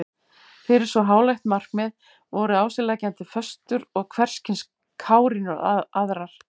Fyrir svo háleitt markmið voru á sig leggjandi föstur og hverskyns kárínur aðrar.